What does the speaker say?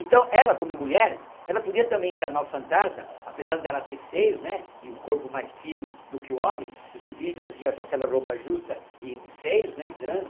Então ela, como mulher, ela podia também encarnar o fantasma, apesar dela ter seios né e o corpo mais fino do que o homem, os indígenas vieram com aquela roupa justa e de seios, né, grande,